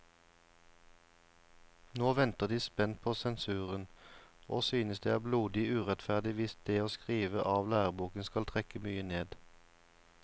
Nå venter de spent på sensuren, og synes det er blodig urettferdig hvis det å skrive av læreboken skal trekke mye ned.